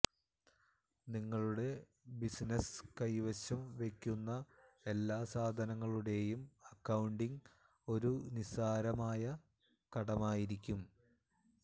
നിങ്ങളുടെ ബിസിനസ്സ് കൈവശം വെയ്ക്കുന്ന എല്ലാ സാധനങ്ങളുടെയും അക്കൌണ്ടിംഗ് ഒരു നിസ്സാരമായ കടമയായിരിക്കും